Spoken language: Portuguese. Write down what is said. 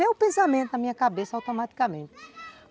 Veio o pensamento na minha cabeça automaticamente.